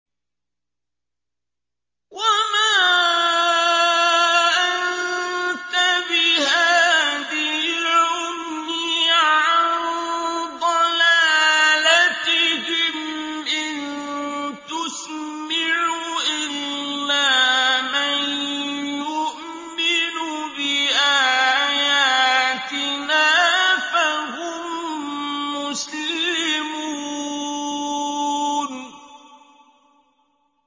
وَمَا أَنتَ بِهَادِي الْعُمْيِ عَن ضَلَالَتِهِمْ ۖ إِن تُسْمِعُ إِلَّا مَن يُؤْمِنُ بِآيَاتِنَا فَهُم مُّسْلِمُونَ